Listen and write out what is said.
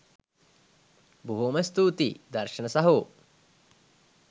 බොහොම ස්තූතියි දර්ශන සහෝ